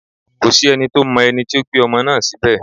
Kò sí ẹni tó mọ ẹni tó gbé ọmọ náà síbẹ̀